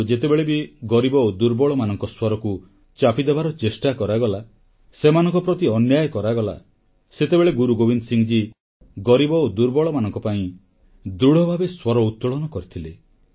କିନ୍ତୁ ଯେତେବେଳେ ବି ଗରିବ ଓ ଦୁର୍ବଳମାନଙ୍କ ସ୍ୱରକୁ ଚାପିଦେବାର ଚେଷ୍ଟା କରାଗଲା ସେମାନଙ୍କ ପ୍ରତି ଅନ୍ୟାୟ କରାଗଲା ସେତେବେଳେ ଗୁରୁ ଗୋବିନ୍ଦ ସିଂ ଗରିବ ଓ ଦୁର୍ବଳମାନଙ୍କ ପାଇଁ ଦୃଢ଼ଭାବେ ସ୍ୱର ଉତୋଳନ କରିଥିଲେ